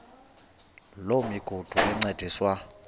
loo migudu encediswa